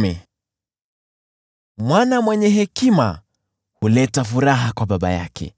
Mithali za Solomoni: Mwana mwenye hekima huleta furaha kwa baba yake,